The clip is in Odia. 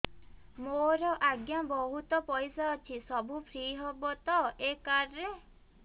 ମୋର ଆଜ୍ଞା ବହୁତ ପଇସା ଅଛି ସବୁ ଫ୍ରି ହବ ତ ଏ କାର୍ଡ ରେ